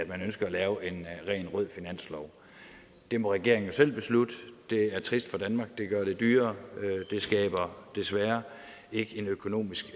man ønsker at lave en rent rød finanslov det må regeringen jo selv beslutte det er trist for danmark det gør det dyrere det skaber desværre ikke en økonomisk